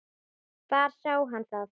Hvar sá hann það?